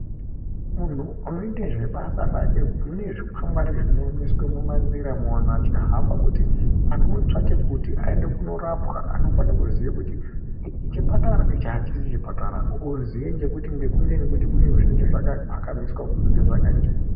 Munhu unoite zvebasa rake mune zvikwangwari zvinoemeswe mumanziramwo vanhu vachihamba kuti anhu ootsvake kuti aende kuorapwa anofane ziya kuti ichi chipatara ichi hachisi chipatara oziye ngekuti zvinenge zvakapfakamiswe kunze zvaka...